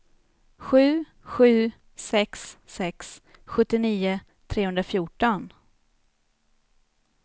sju sju sex sex sjuttionio trehundrafjorton